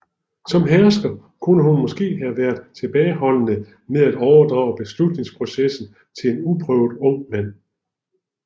Som hersker kunne hun måske have været tilbageholdende med at overdrage beslutningsprocessen til en uprøvet ung mand